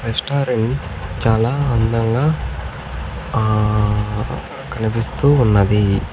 Restaurant చాలా అందంగా ఆ కనిపిస్తూ ఉన్నది.